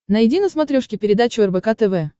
найди на смотрешке передачу рбк тв